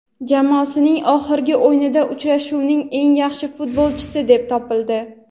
Jamoasining oxirgi o‘yinida uchrashuvning eng yaxshi futbolchisi deb topildi.